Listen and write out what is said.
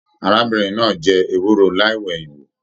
Arábìnrin náà jẹ ewúro láì wẹ̀yin wò.